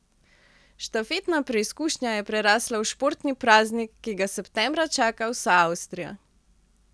Štafetna preizkušnja je prerasla v športni praznik, ki ga septembra čaka vsa Avstrija.